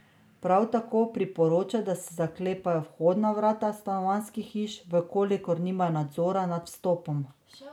Prav tako priporoča, da se zaklepajo vhodna vrata stanovanjskih hiš, v kolikor nimajo nadzora nad vstopom.